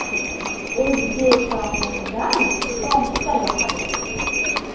O‘zbek taomlaridan somsa yoqadi.